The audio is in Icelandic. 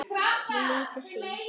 Nýtur sín.